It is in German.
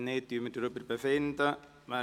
– Wenn nicht, befinden wir.